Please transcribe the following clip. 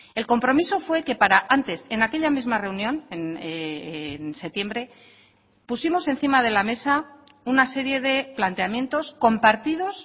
el compromiso fue que para antes en aquella misma reunión en septiembre pusimos encima de la mesa una serie de planteamientos compartidos